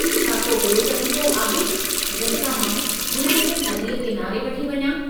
छा को ॿियो तरीक़ो आहे जंहिं सां मां हुननि खे नदीअ किनारे वठी वञां?